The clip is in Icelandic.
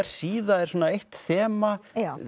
síða er eitt þema